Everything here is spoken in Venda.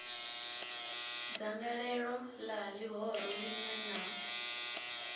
dzangalelo la lihoro linwe na